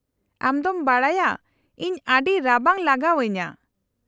-ᱟᱢ ᱫᱚᱢ ᱵᱟᱰᱟᱭᱟ ᱤᱧ ᱟᱹᱰᱤ ᱨᱟᱵᱟᱝ ᱞᱟᱜᱟᱣ ᱟᱹᱧᱟᱹ ᱾